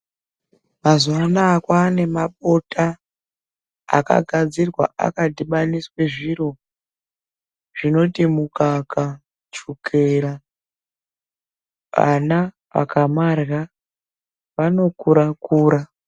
Mazuwa anaa kwanemabota akagadzirwa akadhibaniswe zviro zvinoti mukaka ,shukera .Ana akamarya ,vanokura kura.